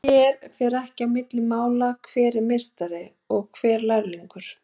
Hér fer ekkert á milli mála hver er meistari og hver lærlingur.